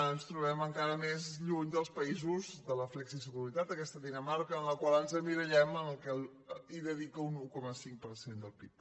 ens trobem encara més lluny dels països de la flexiseguretat aquesta dinamarca en la qual ens emmirallem hi dedica un un coma cinc per cent del pib